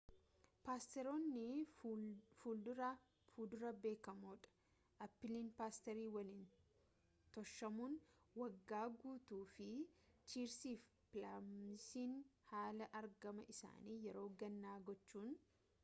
pasterootni fudura beekamoo dha apiliin pasterii waliin toshamuun waggaa guutuu fi cherisii fi plamsiin haala argama isaanii yeroo gannaa gochuun